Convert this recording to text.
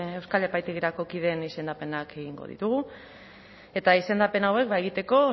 euskal epaitegirako kideen izendapenak egingo ditugu eta izendapen hauek egiteko